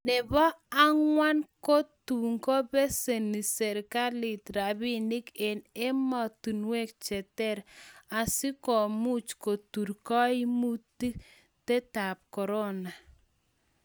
ne bo bakwang'ut ko tukubeseni serikalit robinik eng' emotinwek che ter asikumuch kutur kaimutietab korona.